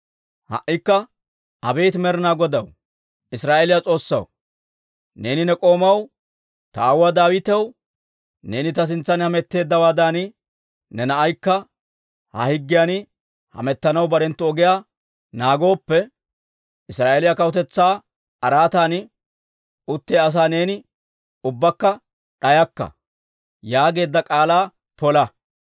«Ha"ikka abeet Med'inaa Godaw, Israa'eeliyaa S'oossaw, neeni ne k'oomaw, ta aawuwaa Daawitaw, ‹Neeni ta sintsan hametteeddawaadan ne naanaykka ta higgiyan hamettanaw barenttu ogiyaa naagooppe, Israa'eeliyaa kawutetsaa araatan uttiyaa asaa neeni ubbakka d'ayakka› yaageedda k'aalaa pola.